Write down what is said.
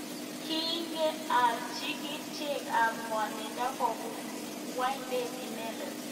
Kinge alji krichek ab ngwonindo komuch kwemndot inendet.